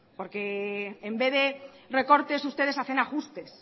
porque en vez de recortes ustedes hacen ajustes